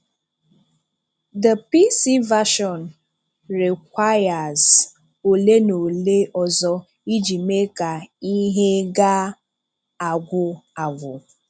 The PC version rēkwùíres ole na ole ọzọ iji mee ka ihe ga-agwụ̀ agwụ.